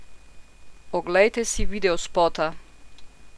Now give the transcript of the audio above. Oglejte si videospota!